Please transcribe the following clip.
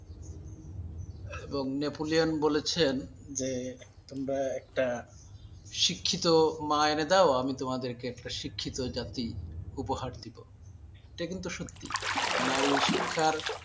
এবং নেপোলিয়ান বলেছেন যে একটা শিক্ষিত মা এনে দাও আমি তোমাদের একটা শিক্ষিত জাতি উপহার দিব, এটা কিন্তু সত্যি নারীশিক্ষার